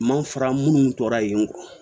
Ma fara minnu tora yen